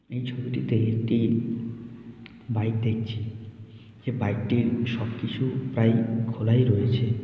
এই ছবিটিতে একটি বাইক দেখছি যে বাইক - টির সব কিছু প্রায় খোলাই রয়েছে।